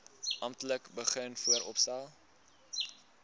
amptelik begin vooropstel